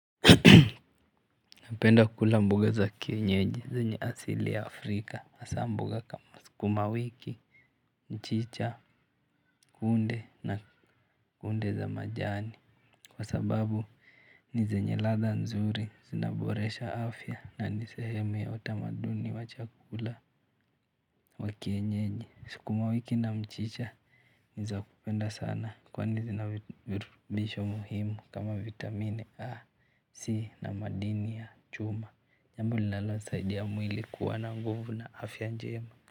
Napenda kula mbugo za kienyeji zenye asili ya Afrika hasa mboga kama sukuma wiki mchicha kunde na kunde za majani kwa sababu ni zenye ladha nzuri zinaboresha afya na nisehemu ya utamaduni wa chakula wa kienyeji sukuma wiki na mchicha nizakupenda sana kwani zina virutubisho muhimu kama vitamini A, C na madini ya chuma jambo linalosaidia mwili kuwa na nguvu na afya njema.